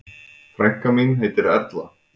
Frænka mín heitir Erla.